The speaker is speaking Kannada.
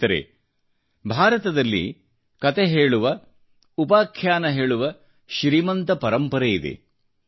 ಸ್ನೇಹಿತರೆ ಭಾರತದಲ್ಲಿ ಕತೆ ಹೇಳುವ ಉಪಾಖ್ಯಾನ ಹೇಳುವ ಶ್ರೀಮಂತ ಪರಂಪರೆ ಇದೆ